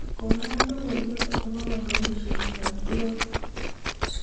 konon logoiwek agopo kabelisiet ab gloove